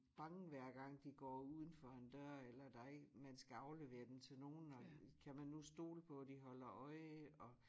Bange hver gang de går uden for en dør eller der en man skal aflevere dem til nogen og kan man nu stole på de holder øje og